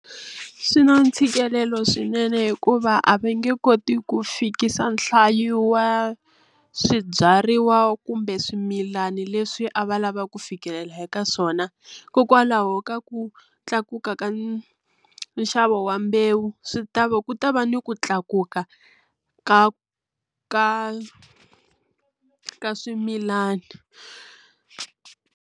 Swi na ntshikelelo swinene hikuva a va nge koti ku fikisa nhlayo wa swibyariwa kumbe swimilani leswi a va lava ku fikelela eka swona hikokwalaho ka ku tlakuka ka nxavo wa mbewu swi ta va ku ta va ni ku tlakuka ka ka ka swimilana.